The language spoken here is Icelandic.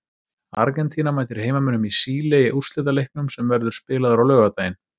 Argentína mætir heimamönnum í Síle í úrslitaleiknum sem verður spilaður á laugardaginn.